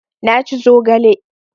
Na ci zogale